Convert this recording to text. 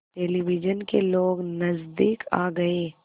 television के लोग नज़दीक आ गए